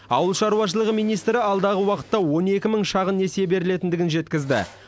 ауыл шаруашылығы министрі алдағы уақытта он екі мың шағын несие берілетіндігін жеткізді